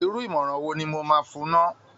Irú ìmọ̀ràn wo nl mo máa fún un ná!